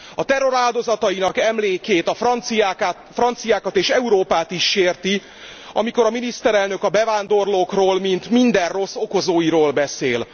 A terror áldozatainak emlékét, a franciákat és Európát is sérti, amikor a miniszterelnök a bevándorlókról, mint minden rossz okozóiról beszél.